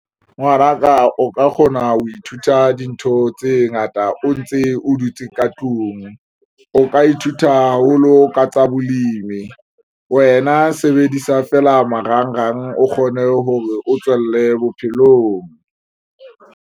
Ngwanaka o ka kgona ho ithuta dintho tse ngata o ntse o dutse ka tlung. O ka ithuta haholo ka tsa bolemi wena sebedisa feela marangrang o kgone hore o tswelle bophelong.